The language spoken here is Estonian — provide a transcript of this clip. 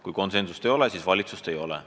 Kui konsensust ei ole, siis valitsust ei ole.